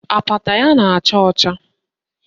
Apata ya na-acha ọcha